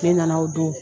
Ne nana o don